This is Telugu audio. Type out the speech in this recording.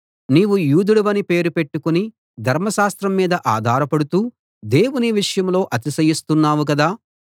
నీవు యూదుడవని పేరు పెట్టుకుని ధర్మశాస్త్రం మీద ఆధారపడుతూ దేవుని విషయంలో అతిశయిస్తున్నావు కదా